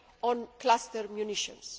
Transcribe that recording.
on Cluster Munitions